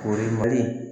Kori mali